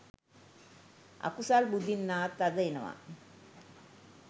අකුසල් බුදින්නාත් අද එනවා